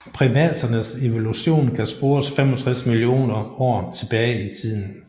Primaternes evolution kan spores 65 millioner år tilbage i tiden